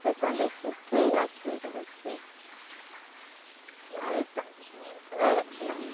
Foi quando eu fiquei aqui em Juruti. Aí. Já com filhos, dois. É. Não.